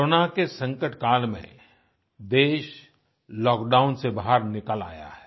corona के संकट काल में देश लॉकडाउन से बाहर निकल आया है